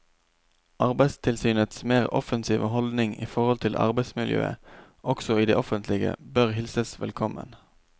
Arbeidstilsynets mer offensive holdning i forhold til arbeidsmiljøet også i det offentlige bør hilses velkommen.